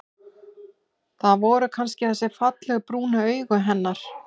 Það voru kannski þessi fallegu, brúnu augu hennar.